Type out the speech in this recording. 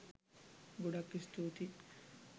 ගොඩක් ස්තුතියි